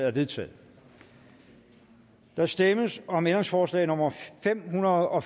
er vedtaget der stemmes om ændringsforslag nummer fem hundrede og